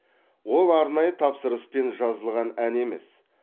ол арнайы тапсырыспен жазылған ән емес